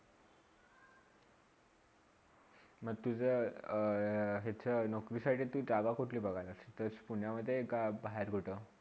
मग तुझा यहाचा अ अ अ नोकरीसाठी जागा कुठली बघालस तेच पुण्यमधे कर बाहेर कुठे?